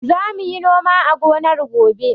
Za mu yi noma a gonar gobe.